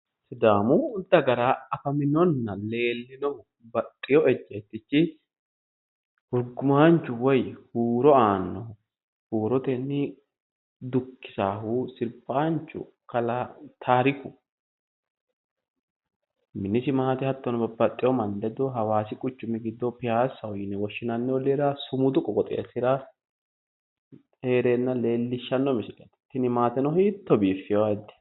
Sidaamu Dagara afaminonna leellinohu baxxewo ejjeettichi hurgumaanchu woy huuro aannohu huurotenni dukkisaahu sirbaanchu kalaa Taariku minisi maate hattono babbaxewo manni ledo hawaasi quchumira baxxino baayiicho piyaasa woshinayi olliira sumudu qooxeessira heereenna leellishshanno misileeti. Tini maateno hiitto biifewo ayiidde.